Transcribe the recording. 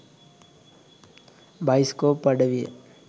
Bioscope අඩවිය.